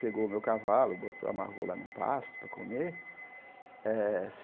Pegou o meu cavalo, botou amarrou lá no pasto para comer. eh